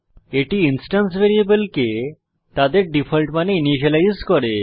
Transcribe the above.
এটি ইনস্ট্যান্স ভ্যারিয়েবলকে তাদের ডিফল্ট মানে ইনিসিয়েলাইজ করে